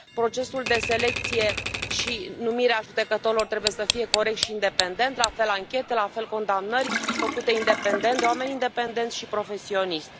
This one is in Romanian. Procesul de selecție și de numire a judecătorilor trebuie să fie corect și independent, la fel anchete, la fel condamnări, făcute independent, de oameni independenți și profesionist.